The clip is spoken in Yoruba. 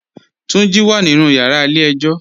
Tunji wà nínu yàrà ilẹ̀ èjò.